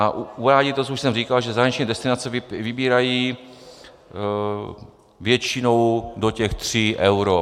A uvádí to, co už jsem říkal, že zahraniční destinace vybírají většinou do těch 3 eur.